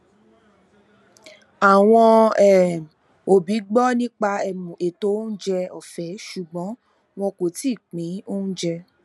àwọn um òbí gbọ nípa um ètò oúnjẹ ọfẹ ṣùgbọn wọn kò tií pin oúnjẹ